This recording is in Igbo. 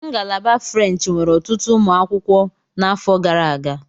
Ngalaba French nwere ọtụtụ ụmụ akwụkwọ n'afọ gara aga.